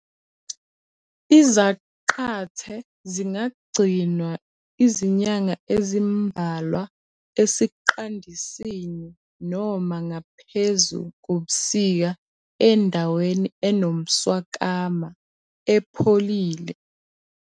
Izaqathe zingagcinwa izinyanga ezimbalwa esiqandisini noma ngaphezu kobusika endaweni enomswakama, epholile.